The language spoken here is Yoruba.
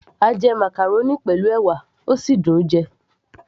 a jẹ màcàrónì pẹ̀lú ẹ̀wà, ó sì dùn -un jẹ